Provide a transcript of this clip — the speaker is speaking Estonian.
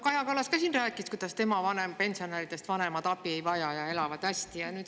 Kaja Kallas ka siin rääkis, kuidas tema pensionäridest vanemad abi ei vaja ja elavad hästi.